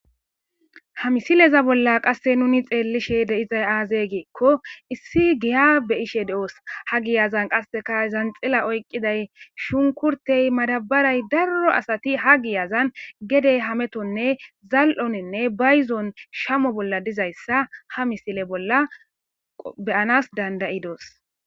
ha misileza bolla qasse nuni xeellishe de'izay aazee geekko issi giya beyishe de7os ha giyazan qasseka zanxila oyqqiday shunkurtey madabaray darro asati ha giyazan gede hametonne zal7oninne bayzon shamo bolla dizayssa ha misile bolla beyanas dandayidoos